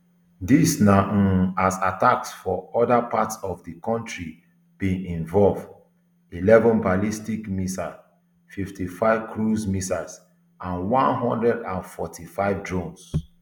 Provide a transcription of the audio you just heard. dis na um as attacks for oda parts of di kontri bin involve eleven ballistic missiles fifty-five cruise missiles and one hundred and forty-five drones